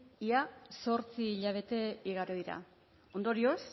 zortzi hilabete igaro dira ondorioz